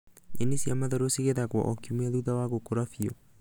Nyeni cia matharũ cigethagwo o kiumia thutha wa gũkũra biũ.